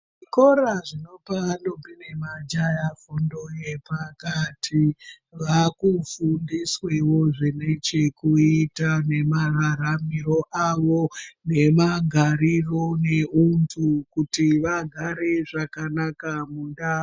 Zvikora zvinopa ndombi nemajaha fundo yepakati vaakufundisweo zvine chekuita nemararamiro avo nemagariro emunthu kuti vagare zvakanaka mundau .